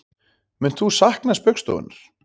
Munt þú sakna Spaugstofunnar